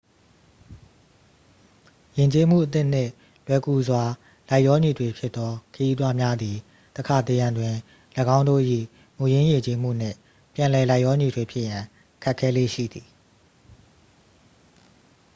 ယဉ်ကျေးမှုအသစ်နှင့် လွယ်ကူစွာ လိုက်လျောညီထွေ ဖြစ်သော ခရီးသွားများသည် တစ်ခါတစ်ရံတွင် ၎င်းတို့၏ မူရင်းယဉ်ကျေးမှုနှင့် ပြန်လည် လိုက်လျောညီထွေ ဖြစ်ရန် ခက်ခဲလေ့ရှိသည်